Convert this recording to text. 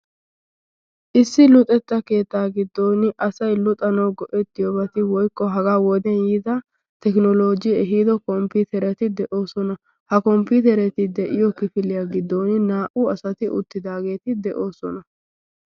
issi luxetta keettaa giddon asai luxanawu go7ettiyoobati woikko hagaa woden yiida tekinolooji ehiido komppiterati de7oosona. ha komppitereti de7iyo kifiliyaa giddon naa77u asati uttidaageeti de7oosona.